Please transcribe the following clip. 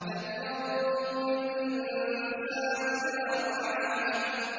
فَلْيَنظُرِ الْإِنسَانُ إِلَىٰ طَعَامِهِ